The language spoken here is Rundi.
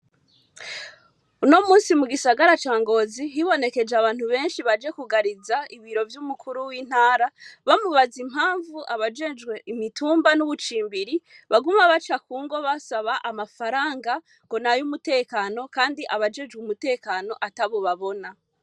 Uno munsi mu gisagara ca Ngozi hibonekeje abantu benshi baje kugariza ibiro vy'umukuru w'intara bamubaza impamvu abajejwe imitumba n'ubucimbiri baguma baca kungo basaba amafaranga ngo nayo umutekano kandi abajejwe umutekano atabo babona.